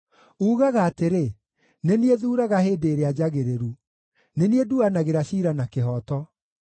Uugaga atĩrĩ, “Nĩ niĩ thuuraga hĩndĩ ĩrĩa njagĩrĩru; nĩ niĩ nduanagĩra ciira na kĩhooto.